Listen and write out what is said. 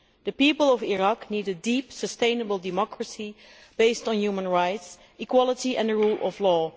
The people of Iraq need a deep, sustainable democracy, based on human rights, equality and the rule of law.